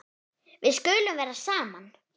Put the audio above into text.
Við skulum vera saman.